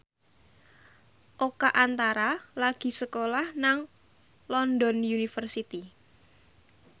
Oka Antara lagi sekolah nang London University